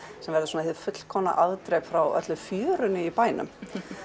sem verður fullkomið afdrep frá öllu fjörinu í bænum